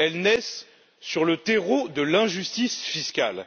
naissent sur le terreau de l'injustice fiscale.